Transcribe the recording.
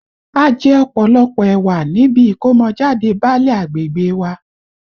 A jẹ ọ̀pọ̀lọpọ̀ ẹ̀wà níbi ìkọ́mọjáde báálẹ̀ agbègbè e wa